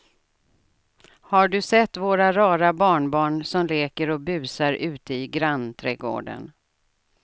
Har du sett våra rara barnbarn som leker och busar ute i grannträdgården!